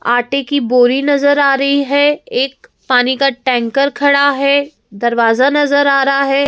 आटे की बोरी नज़र आ रही है एक पानी का टैंकर खड़ा है दरवाजा नज़र आ रहा है।